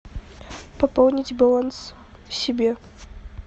пополнить баланс себе